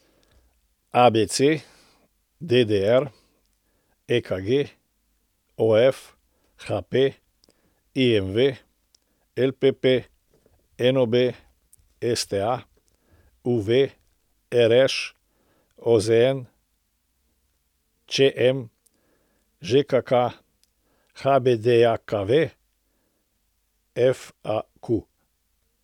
ABC, DDR, EKG, OF, HP, IMV, LPP, NOB, STA, UV, RŠ, OZN, ČM, ŽKK, HBDJKV, FAQ.